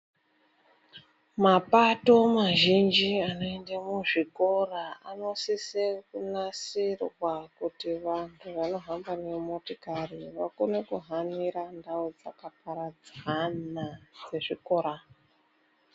Mapato mazhinji anoende muzvikora anosise kunasirwa kuti vantu vanohamba nemotikari vakone kuhanira ndau dzakaparadzana dzezvikora.